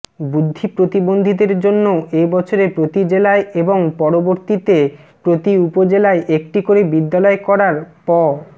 বুদ্ধিপ্রতিবন্ধীদের জন্য এ বছরে প্রতি জেলায় এবং পরবর্তীতে প্রতি উপজেলায় একটি করে বিদ্যালয় করার প্